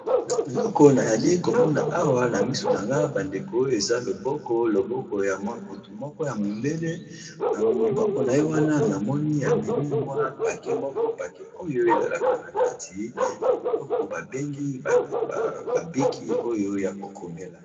Eloko nayali komona awa na misu na nga bandeko eza loboko loboko ya motu moko ya mondele na loboko na ye wana namoni amemi mwa pake moko pake oyo ezalaka na kati babiloko babengi babiki oyo ya kokomela.